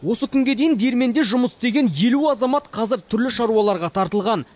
осы күнге дейін диірменде жұмыс істеген елу азамат қазір түрлі шаруаларға тартылған